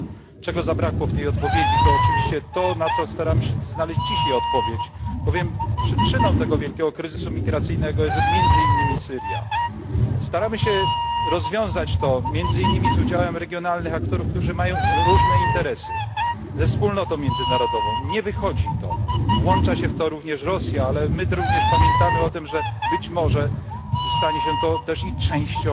To, czego zabrakło w tej odpowiedzi to oczywiście to, na co staramy się znaleźć dzisiaj odpowiedź, bowiem przyczyną tego wielkiego kryzysu migracyjnego jest między innymi Syria. Staramy się rozwiązać to ze wspólnotą międzynarodową, między innymi z udziałem regionalnych aktorów, którzy mają różne interesy. Nie wychodzi nam. Włącza się również Rosja, ale my również pamiętamy o tym, że być może stanie się to też częścią